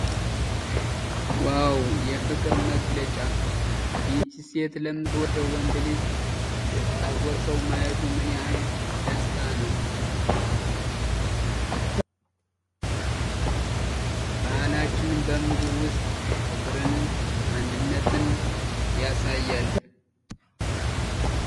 ዋው! የፍቅር መገለጫ! ይህች ሴት ለምትወደው ወንድ ልጅ ስታጎርሳው ማየቱ ምን ያህል ደስታ ነው! ባህላችን በምግቡ ውስጥ ፍቅርንና አንድነትን ያሳያል!